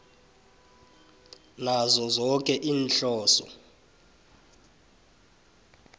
nazo zoke iinhloso